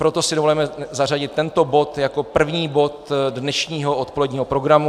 Proto si dovolujeme zařadit tento bod jako první bod dnešního odpoledního programu.